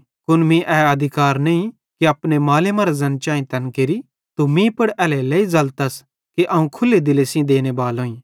कुन मीं ए अधिकार नईं कि अपने माले मरां ज़ैन चैईं तैन केरि तू मीं पुड़ एल्हेरेलेइ ज़लतस कि अवं खुल्ले दिले सेइं देने बालोईं